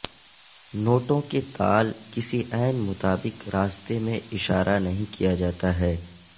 نوٹوں کے تال کسی عین مطابق راستے میں اشارہ نہیں کیا جاتا ہے